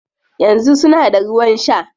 Yanzu suna da ruwan shaa